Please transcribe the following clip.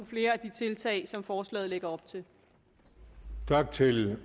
flere af de tiltag som forslaget lægger op til til